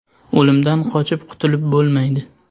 O‘limdan qochib qutulib bo‘lmaydi .